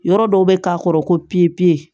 Yɔrɔ dɔw bɛ k'a kɔrɔ ko